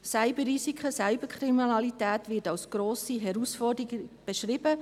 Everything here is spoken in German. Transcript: Cyberrisiken, Cyberkriminalität werden als grosse Herausforderung beschrieben.